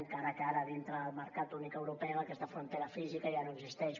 encara que ara dintre del mercat únic europeu aquesta frontera física ja no existeix